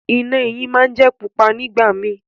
Iná eyín món jé pupa nìgbà mí